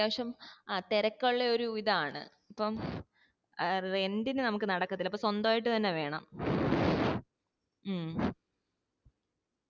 അത്യാവശ്യം ആ തിരക്കുള്ള ഒരു ഇതാണ് അപ്പം ഏർ rent ഇന് നമ്മക്ക് നടക്കത്തില്ല അപ്പൊ സ്വന്തായിട്ട് തന്നെ വേണം മ്മ്